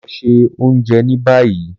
Lọ ṣe ounjẹ ni bayi!